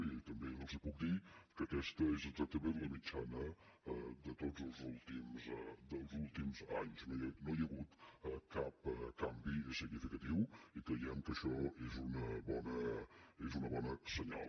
i també els puc dir que aquesta és exactament la mitjana dels últims anys no hi ha hagut cap canvi significatiu i creiem que això és un bon senyal